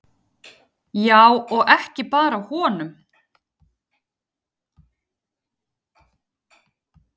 Já, og ekki bara honum.